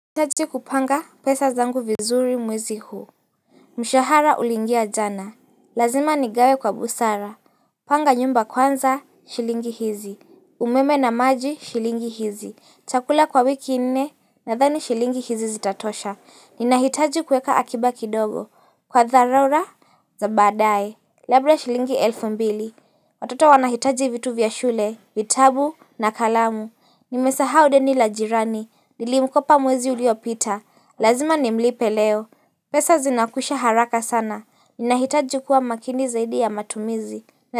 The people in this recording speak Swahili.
Nahitaji kupanga pesa zangu vizuri mwezi huu Mshahara ulingia jana Lazima nigawe kwa busara Panga nyumba kwanza shilingi hizi umeme na maji shilingi hizi chakula kwa wiki nne na dhani shilingi hizi zitatosha Ninahitaji kuweka akiba kidogo kwa dharura za badaye Labda shilingi elfu mbili Watoto wanahitaji vitu vya shule vitabu na kalamu nimesaha deni lajirani nilimkopa mwezi uliopita lazima nimlipe leo pesa zinakwisha haraka sana ninahitaji kuwa makini zaidi ya matumizi.